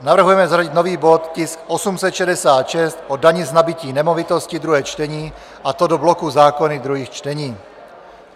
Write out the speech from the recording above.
Navrhujeme zařadit nový bod, tisk 866, o dani z nabytí nemovitosti, druhé čtení, a to do bloku zákony druhých čtení.